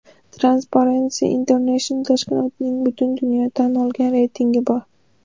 Transparency International tashkilotining butun dunyo tan olgan reytingi bor.